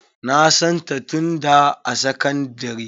Na santa tun da a sakandire.